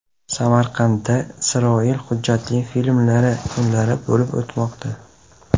Samarqandda Isroil hujjatli filmlari kunlari bo‘lib o‘tmoqda.